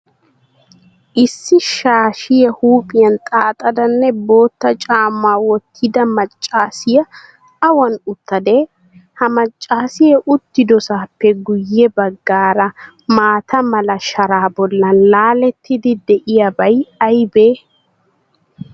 Issi shaashiyaa huuphiyan xaaxadanne bootta caammaa wottida maccaasiyaa awan uttadee? Ha maccaasiyaa uttidosaappe guyye baggaara maataa mala sharaa bollan laalettidi de'iyaabay aybee?